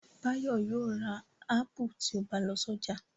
Báyọ̀ yóò ra ápù tí ó bá lọ sọ́jà.